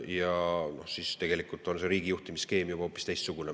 Ja siis on tegelikult riigi juhtimise skeem juba hoopis teistsugune.